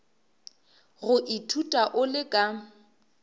go ithuta o le ka